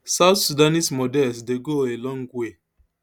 south sudanese models dey go a long way